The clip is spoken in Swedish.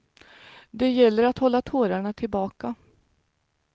Det gäller att hålla tårarna tillbaka.